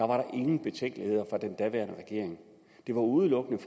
var der ingen betænkeligheder fra den daværende regering det var udelukkende